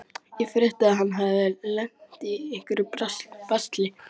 Ég frétti að hann hefði lent í einhverju basli.